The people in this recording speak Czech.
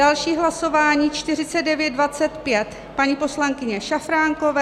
Další hlasování 4925 paní poslankyně Šafránkové.